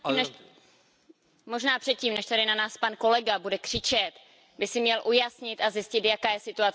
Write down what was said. Možná předtím, než tady na nás pan kolega bude křičet, by si měl ujasnit a zjistit, jaká je situace v České republice.